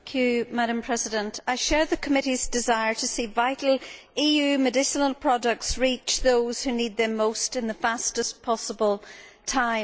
Madam President, I share the committee's desire to see vital EU medicinal products reach those who need them most in the fastest possible time.